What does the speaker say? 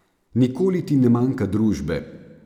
Nikoli ti ne manjka družbe.